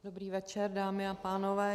Dobrý večer, dámy a pánové.